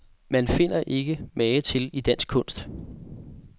Man finder ikke mage til i dansk kunst.